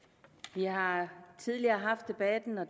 vi har tidligere haft debatten og